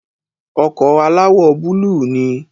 ọkọ̀ alawọ búlù ni